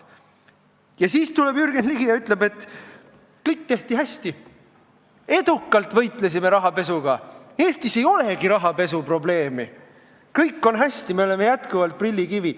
Ja siis tuleb Jürgen Ligi ja ütleb, et kõik tehti hästi, edukalt võitlesime rahapesuga, Eestis ei olegi rahapesuprobleemi, kõik on hästi, me oleme jätkuvalt prillikivi.